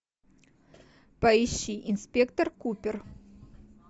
поищи инспектор купер